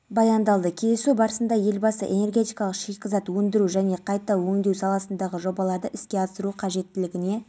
көлемде бопсалау бабы өзгертілген мұндай мүмкіндікті құр жібермеген қайрат жамалиев бірден жазасын жеңілдету туралы өтініш